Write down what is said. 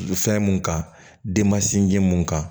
Fɛn mun kan denma sinji mun kan